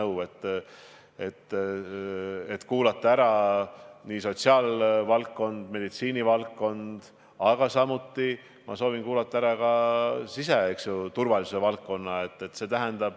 Me tahame ära kuulata sotsiaalvaldkonna, meditsiinivaldkonna ja ka siseturvalisuse valdkonna esindajad.